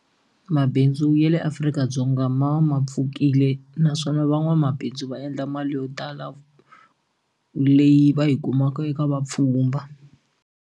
Mabindzu ya le Afrika-Dzonga ma va ma pfukile naswona van'wamabindzu va endla mali yo tala leyi va yi kumaka eka vapfhumba.